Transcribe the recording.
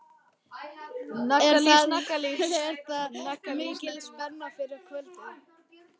Er ekki mikil spenna fyrir kvöldið?